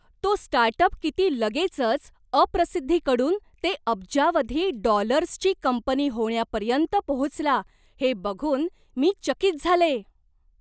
तो स्टार्टअप किती लगेचच, अप्रसिद्धीकडून ते अब्जावधी डॉलर्सची कंपनी होण्यापर्यंत पोहोचला हे बघून मी चकित झाले.